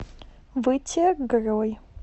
вытегрой